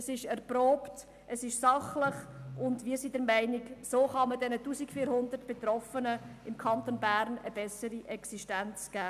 Es ist erprobt, es ist sachlich, und wir sind der Meinung, so könne man den 1400 Betroffenen im Kanton Bern eine bessere Existenz geben.